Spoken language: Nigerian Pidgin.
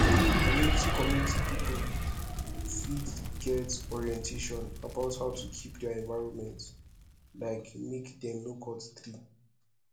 community community pipo fit get orientation about how to keep their environment like make dem no cut tree